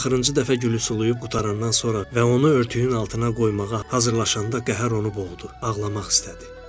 O axırıncı dəfə gülünü sulayıb qurtarandan sonra və onu örtüyün altına qoymağa hazırlaşanda qəhər onu boğdu, ağlamaq istədi.